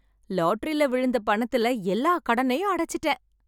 லாட்டரியில விழுந்த பணத்துல எல்லா கடனையும் அடச்சிட்டேன்